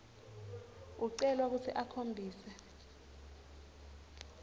ucelwa kutsi ukhombise